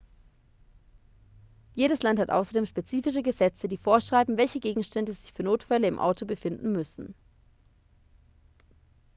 jedes land hat außerdem spezifische gesetze die vorschreiben welche gegenstände sich für notfälle im auto befinden müssen